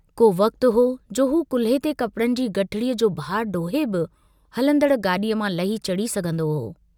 को वक्तु हो जो हू कुल्हे ते कपिड़े जी गुठिड़ीअ जो बारु डोहे बि हलंदड़ गाड़ीअ मां लही चढ़ी सघंदो हो।